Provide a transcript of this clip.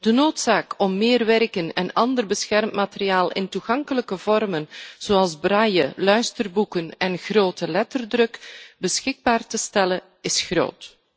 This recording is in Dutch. De noodzaak om meer werken en ander beschermd materiaal in toegankelijke vormen zoals Braille, luisterboeken en grote letterdruk beschikbaar te stellen is groot.